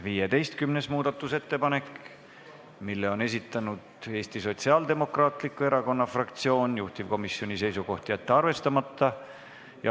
15. muudatusettepaneku on esitanud Eesti Sotsiaaldemokraatliku Erakonna fraktsioon, juhtivkomisjoni seisukoht: jätta see arvestamata.